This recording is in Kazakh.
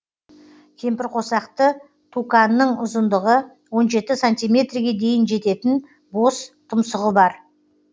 кемпірқосақты туканның ұзындығы он жеті сантиметрге дейін жететін бос тұмсығы бар